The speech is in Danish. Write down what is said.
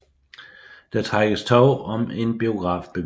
Der trækkes tov om en biografbevilling